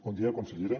bon dia consellera